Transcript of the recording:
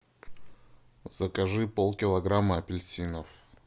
закажи пол килограмма апельсинов